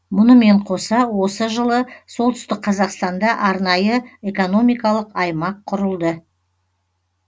мұнымен қоса осы жылы солтүстік қазақстанда арнайы экономикалық аймақ құрылды